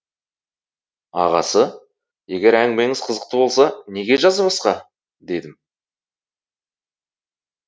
ағасы егер әңгімеңіз қызықты болса неге жазбасқа дедім